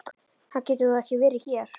Hann getur þó ekki verið hér!